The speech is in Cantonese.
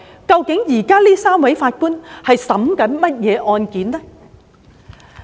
究竟這3位法官現時在審理甚麼案件？